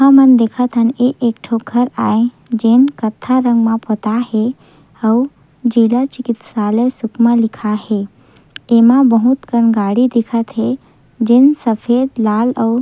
हमन देखत हन ये एक ठो घर आए जेन कत्था रंग में पोताए हे अऊ जिला चिकित्सालय सुकमा लिखाए हे एमा बहुत कन गाड़ी दिखत हे जेन सफ़ेद लाल अऊ--